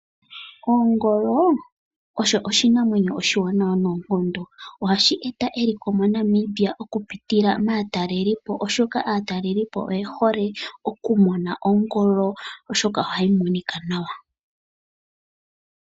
Ongolo osho oshinamwenyo oshiwanawa noonkondo. Ohashi eta eliko moNamibia okupitila maatalelipo, oshoka aatalelipo oye hole okumona Ongolo, oshoka ohayi monika nawa.